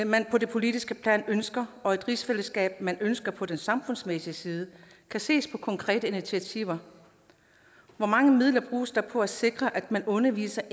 man på det politiske plan ønsker og et rigsfællesskab man ønsker på den samfundsmæssige side kan ses på konkrete initiativer hvor mange midler bruges der på at sikre at man underviser